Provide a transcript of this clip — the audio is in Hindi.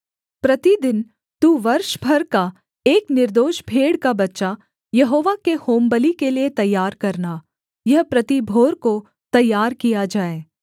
प्रतिदिन तू वर्ष भर का एक निर्दोष भेड़ का बच्चा यहोवा के होमबलि के लिये तैयार करना यह प्रति भोर को तैयार किया जाए